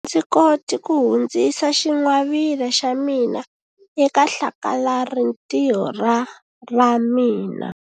A ndzi koti ku hundzisa xingwavila xa mina eka hlakalarintiho ra ra mina.